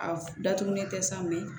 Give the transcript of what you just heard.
A datugulen tɛ sa mɛ